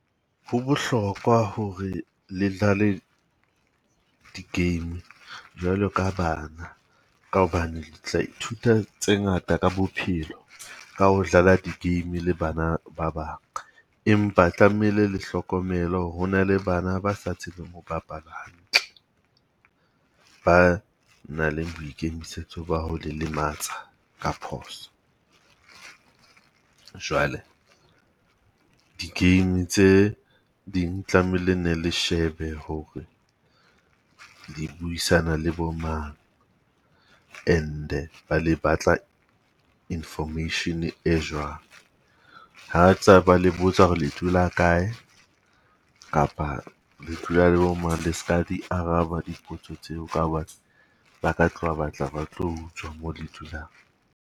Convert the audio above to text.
Ho bohlokwa ho re le dlale di-game jwalo ka bana. Ka hobane tla ithuta tse ngata ka bophelo ka ho dlala di-game le bana ba bang. Empa tlamehile le hlokomele hore ho na le bana ba sa tsebeng ho bapala hantle. Ba nang le boikemisetso ba ho le lematsa ka phoso. Jwale di-game tse ding tlamehile ne le shebe hore di buisana le bo mang and-e ba le batla information e jwang. Ha tsa ba le botsa hore le dula kae kapa le dula le bo mang le ska di araba dipotso tseo ka bane ba ka tloha ba tla ba tlo utswa mo le dulang.